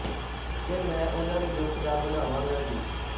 ਕਿ ਮੈਂ ਉਹਨਾਂ ਦੇ ਦੁੱਖ ਦਾ ਬਣਾਵਾਂਗਾ ਗੀਤ